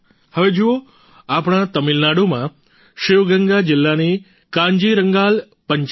હવે જુઓ આપણા તમિલનાડુમાં શિવગંગા જિલ્લાની કાન્જીરંગાલ પંચાયત